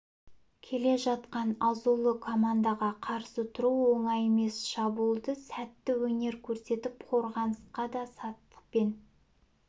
келе жатқан азулы командаға қарсы тұру оңай емес шабуылда сәтті өнер көрсетіп қорғанысқа да сақтықпен